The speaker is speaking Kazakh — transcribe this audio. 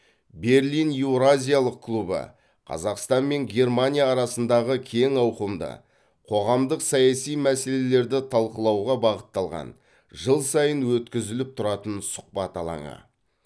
берлин еуразиялық клубы қазақстан мен германия арасындағы кең ауқымды қоғамдық саяси мәселелерді талқылауға бағытталған жыл сайын өткізіліп тұратын сұхбат алаңы